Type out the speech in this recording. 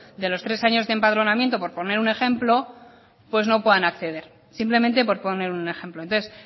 de los tres años de empadronamiento por poner un ejemplo pues no puedan acceder simplemente por poner un ejemplo entonces